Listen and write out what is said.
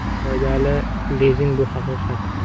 Foydali lizing bu haqiqat!.